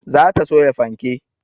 Za ta soya fanke